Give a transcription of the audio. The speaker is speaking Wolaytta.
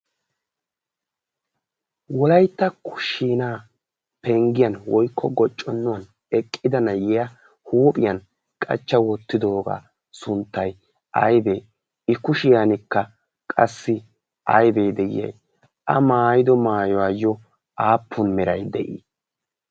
wolaitta kushiinaa penggiyan woikko gocconnuwan eqqida nayiya huuphiyan qachcha woottidoogaa sunttai aidee i kushiyankka qassi aidee de'iya a maayido maayuwaayyo aappun mirai de'ii?